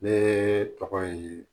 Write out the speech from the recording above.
Ne tɔgɔ ye